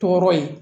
Tɔɔrɔ ye